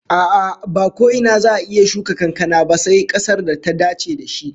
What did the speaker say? A'a, ba ko ina za'a iya shuka kankana ba sai kasar da ta dace da shi